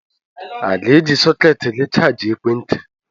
a ga-eji sọkètị gị chajịa ekwentị